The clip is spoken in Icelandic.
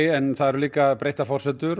en það eru breyttar forsendur